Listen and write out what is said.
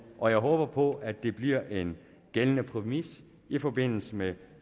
og jeg håber på at det bliver en gældende præmis i forbindelse med